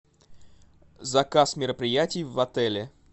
заказ мероприятий в отеле